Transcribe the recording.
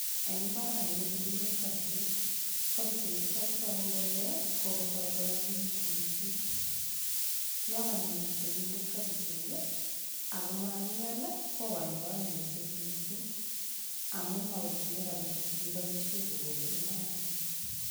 Eng' mbarani kokikimin kobichek kobichechuto kotoku kole kokotoi koyakikitu mising' yo kaimin temindet kabichek ako makial kokoini kaimutyet mising' amun mawekchini rabishek chekiboishe kokolei mbaranoto